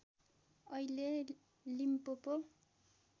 अहिले लिम्पोपो